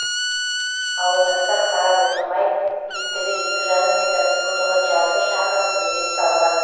ауылдастар қарап отырмай биіктігі екі жарым метр ұзындығы жарты шақырым бөгет салған